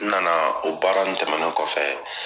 N nana o baara nunnu tɛmɛnen kɔfɛ